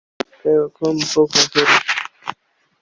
Hvar eigum við að koma bókunum fyrir?